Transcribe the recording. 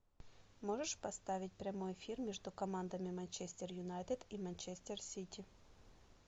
можешь поставить прямой эфир между командами манчестер юнайтед и манчестер сити